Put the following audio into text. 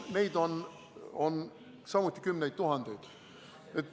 Neid on samuti kümneid tuhandeid.